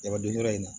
Jabadon yɔrɔ in na